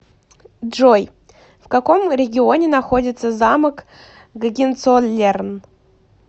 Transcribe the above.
джой в каком регионе находится замок гогенцоллерн